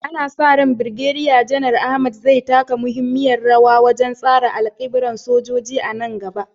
Ana sa ran Birgediya Janar Ahmed zai taka muhimmiyar rawa wajen tsara alƙiblar sojoji a nan gaba.